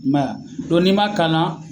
I ma ye n'i ma kan na